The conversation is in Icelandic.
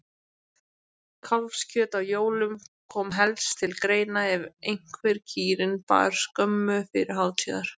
Kálfskjöt á jólum kom helst til greina ef einhver kýrin bar skömmu fyrir hátíðar.